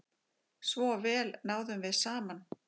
Svo vel náðum við saman.